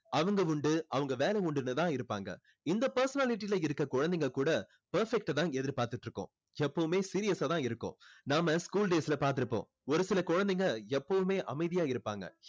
அவங்க உண்டு அவங்க வேலை உண்டுன்னு தான் இருப்பாங்க இந்த personality ல இருக்க குழந்தைங்க கூட perfect அ தான் எதிர்பார்த்துட்டு இருக்கும் எப்போவுமே serious ஆ தான் இருக்கும் நாம school days ல பார்த்து இருப்போம் ஒரு சில குழந்தைங்க எப்போவுமே அமைதியா இருப்பாங்க